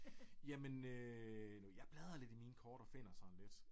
Jamen øh jeg bladrer lidt i mine kort og finder sådan lidt